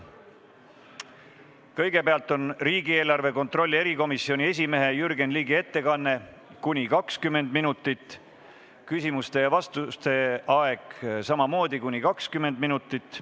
Kõigepealt on riigieelarve kontrolli erikomisjoni esimehe Jürgen Ligi ettekanne , küsimuste ja vastuste aeg on samamoodi kuni 20 minutit.